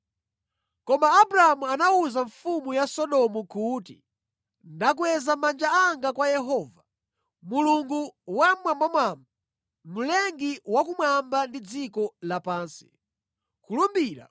Koma Abramu anawuza mfumu ya Sodomu kuti, “Ndakweza manja anga kwa Yehova, Mulungu Wammwambamwamba, Mlengi wakumwamba ndi dziko lapansi, kulumbira